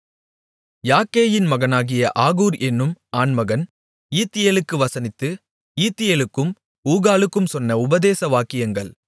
யாக்கேயின் மகனாகிய ஆகூர் என்னும் ஆண்மகன் ஈத்தியேலுக்கு வசனித்து ஈத்தியேலுக்கும் ஊகாலுக்கும் சொன்ன உபதேச வாக்கியங்கள்